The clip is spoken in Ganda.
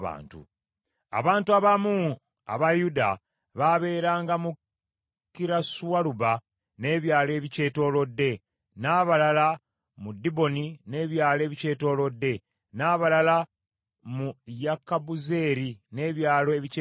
Abantu abamu aba Yuda baabeeranga mu Kirasualuba n’ebyalo ebikyetoolodde, n’abalala mu Diboni n’ebyalo ebikyetoolodde, n’abalala mu Yekabuzeeri n’ebyalo ebikyetoolodde,